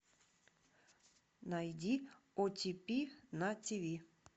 найди о ти пи на ти ви